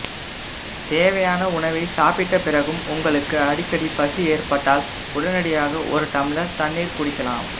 தேவையான உணவை சாப்பிட்ட பிறகும் உங்களுக்கு அடிக்கடி பசி ஏற்பட்டால் உடனடியாக ஒரு டம்ளர் தண்ணீர் குடிக்கலாம்